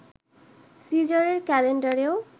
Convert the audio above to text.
সিজারের ক্যালেন্ডারেও